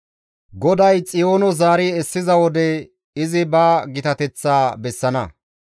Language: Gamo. GODAY Xiyoono zaari essiza wode izi ba gitateththa bessana.